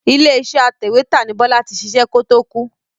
Ilé iṣẹ́ atẹ̀wétà ni Bọ́lá ti ṣiṣẹ́ kó to kú.